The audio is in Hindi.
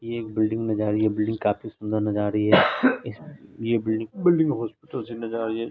ये एक बिल्डिंग नजर आरी है बिल्डिंग काफी सुंदर नजर आरी है। ये बिल्डिंग बिल्डिंग हॉस्पिटल से नजर आरी हैं।